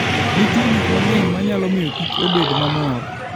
Nitie gik mang'eny ma nyalo miyo Kich obed mamor.